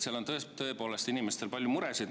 Seal on tõepoolest inimestel palju muresid.